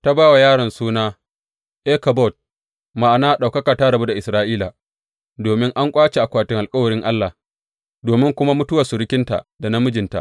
Ta ba wa yaron suna Ikabod, ma’ana Ɗaukaka ta rabu da Isra’ila, domin an ƙwace akwatin alkawarin Allah, domin kuma mutuwar surukinta da na mijinta.